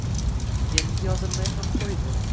Endi yozilmay ham qo‘ydi.